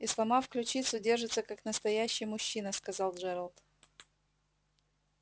и сломав ключицу держится как настоящий мужчина сказал джералд